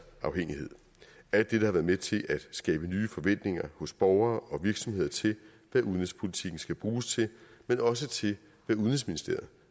afhængighed alt dette har været med til at skabe nye forventninger hos borgere og virksomheder til hvad udenrigspolitikken skal bruges til men også til hvad udenrigsministeriet